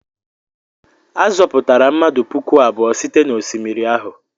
A zọpụtara mmadụ puku abụọ site n'osimiri ahụ.